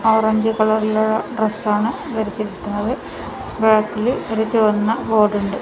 Orange കളറിലുള്ള ഡ്രസ്സാണ് ധരിച്ചിരിക്കുന്നത് ബാക്കില് ഒരു ചുവന്ന ബോർഡുണ്ട് .